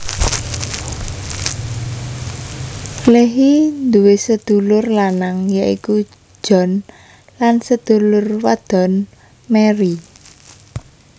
Leahy duwé sedulur lanang yaiku John lansedulur wadon Mary